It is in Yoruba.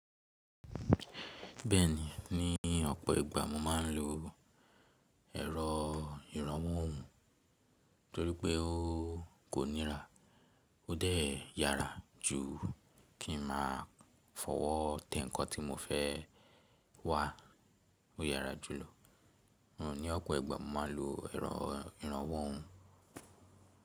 Bẹ́ẹ̀ni, ní ọ̀pọ̀ ìgbà mo máa ń lo ẹ̀rọ ìrànwọ́ oùn torí pé ó kò ńira, ó dẹ̀ yára jù kí ma fọwọ́ tẹ ǹkan tí mo fẹ́ wá o yára jùlọ. Ní ọ̀pọ̀ ìgbà mo máa ń lo ẹ̀rọ ìrànwọ́ oùn.